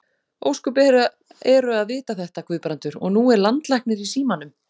Ósköp eru að vita þetta, Guðbrandur, og nú er landlæknir í símanum.